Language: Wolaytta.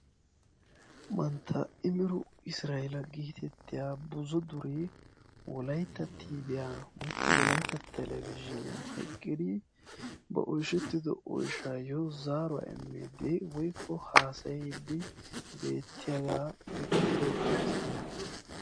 Mantta imirru israella getettiyaa buzzu dure wolayitta Tbiya woykko wolayitta Telebizhzhinyaan eqqidi ba oyshshettido oyshshaayo zaaruwaa immidi woyikko haasayidi beettiyaga ekkido misiliyaa.